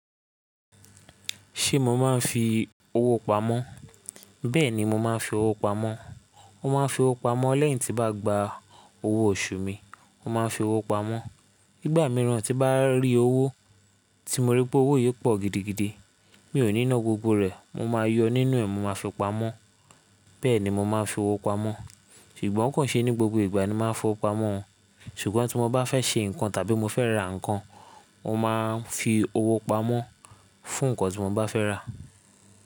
Ṣé mo máa ń fi owó pamọ́? Bẹ́ẹ̀ni, mo máa ń fi owó pamọ́. Mo máa ń fi owó pamọ́ lẹ́yìn tí n bá gba owó oṣù mi, mo máa ń fi owó pamọ́. Nígbà mìíràn tí bá rí owó tí mo rí pé owó yìí pọ̀ gidigidi, mi ò ní ná gbogbo rẹ̀, mo máa yọ nínú ẹ̀, mo máa fi pamọ́. Bẹ́ẹ̀ ni mo máa ń fi owó pamọ́, ṣùgbọ́n kò ṣe ní gbogbo ìgbà ni máa ń fi owó pamọ́ o. Ṣùgbọ́n tí mo bá fẹ́ ṣe nǹkan tàbí mo fẹ́ ra nǹkan, mo máa ń fi owó pamọ́ fún nǹkan tí mo bá fẹ́ rà.